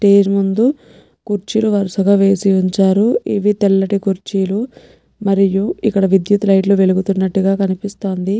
టేజ్ ముందు కుర్చీలు వరుసగా వేశివుంచారు ఇవి తెల్లటి కుర్చీలు మరియు ఇక్కడ విద్యుత్ లైట్ లు వెలుగుతున్నట్లుగా కనిపిస్తాంది.